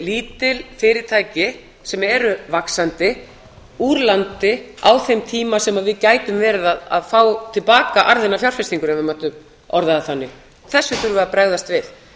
lítil fyrirtæki sem eru vaxandi úr landi á þeim tíma sem við gætum verið að fá til baka arðinn af fjárfestingunni ef við mættum orða það þannig þessu þurfum við að bregðast við